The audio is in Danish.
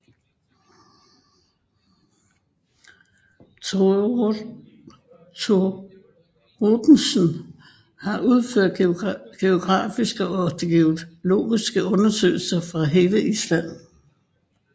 Thoroddsen har udført geografiske og geologiske undersøgelse af hele Island